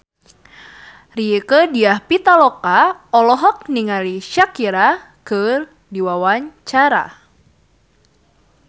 Rieke Diah Pitaloka olohok ningali Shakira keur diwawancara